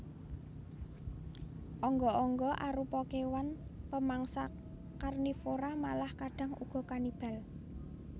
Angga angga arupa kéwan pamangsa karnivora malah kadhang uga kanibal